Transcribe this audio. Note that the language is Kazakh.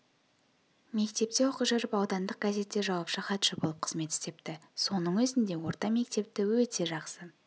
мектепте оқи жүріп аудандық газетте жауапты хатшы болып қызмет істепті соның өзінде орта мектепті өте жақсы